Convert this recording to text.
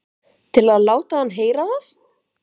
Til að láta hann heyra það?